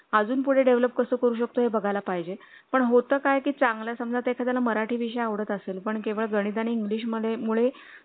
अजून पुढे develop कसं करू शकतो हे बघायला पाहिजे पण होतं काय की चांगला समजा एखाद्या मराठी विषय आवडत असेल पण केवळ गणित आणि english मध्ये मुळे